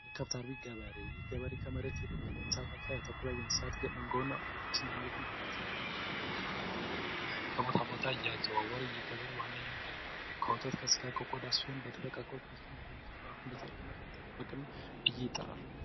የከብት አርቢ ገበሬ ይህ ገበሬ ከመሬት ይልቅ እንስሳት ላይ ያተኩራል ሀብቶችን ንብረቶችን ለማስተዳደርና የውሃ ፍለጋ ከቦታ ቦታ እያዘዋወረ የዚህ ገበሬ ዋና የገቢ ምንጭ ከወተት ከቆዳ ከስጋ ሲሆን በተለይ ከወጣ ያገኛል አርብቶ አደር ተብሎ ይጠራል።